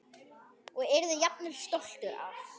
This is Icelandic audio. Og yrði jafnvel stoltur af.